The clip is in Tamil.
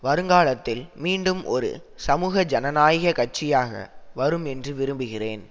வருங்காலத்தில் மீண்டும் ஒரு சமூக ஜனநாயக கட்சியாக வரும் என்று விரும்புகிறேன்